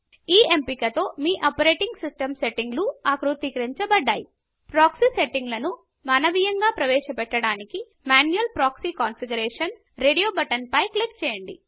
ఈ ఎంపిక తో మీ ఆపరేటింగ్ సిస్టం సెట్టింగులు ఆకృతీకరించబడతాయి ప్రాక్సీ సెట్టిన్గాలను మనవియంగా ప్రవేశ పట్టడానికి manual proxy configuration radio button పై క్లిక్ చేయండి